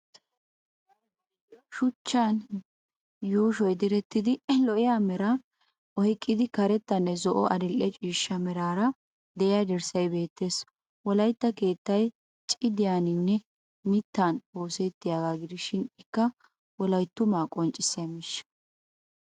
shuchchan yuushuwaa direttidi lo'iya meraa oyqqida karetta zo'onne adil'e cishcha meraara diya dirssay beettes. Wolaytta keettay cidiyaninne mittan ossettaagaa gishin ikka wolayttumaa qonccissiya miishsha.